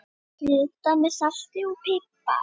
Kryddað með salti og pipar.